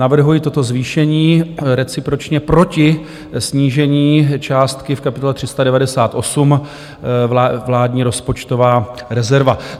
Navrhuji toto zvýšení recipročně proti snížení částky v kapitole 398, Vládní rozpočtová rezerva.